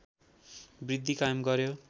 वृद्धि कायम गर्‍यो